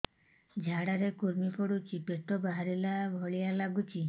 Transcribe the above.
ଝାଡା ରେ କୁର୍ମି ପଡୁଛି ପେଟ ବାହାରିଲା ଭଳିଆ ଲାଗୁଚି